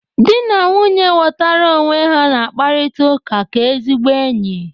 Dị na nwunye ghọtara onwe ha na-akparịta ụka ka ezigbo enyi.